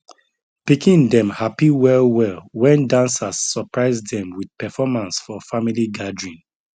pikin dem happy well well when dancers surprise dem with performance for family gathering